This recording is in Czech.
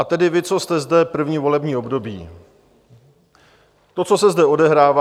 A tedy vy, co jste zde první volební období, to, co se zde odehrává...